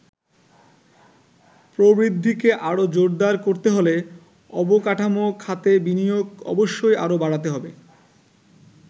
প্রবৃদ্ধিকে আরো জোরদার করতে হলে অবকাঠামো খাতে বিনিয়োগ অবশ্যই আরো বাড়াতে হবে।